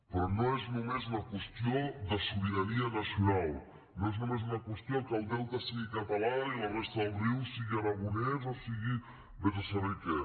però no és només una qüestió de sobirania nacional no és només una qüestió que el delta sigui català i la resta del riu sigui aragonès o sigui vés a saber què